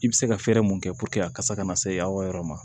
I bɛ se ka fɛɛrɛ mun kɛ a kasa kana se aw ka yɔrɔ ma